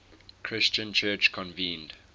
christian church convened